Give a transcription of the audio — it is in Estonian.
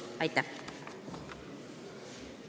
Aitäh!